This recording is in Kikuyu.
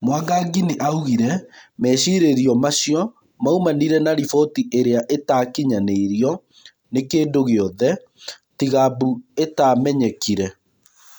Mwangangi nĩaugire mecirĩrio macio maumanire na rĩboti ĩrĩa ĩtakĩnyanĩirio nĩ kĩndũgĩothe tiga mbu ĩtamenyrkire.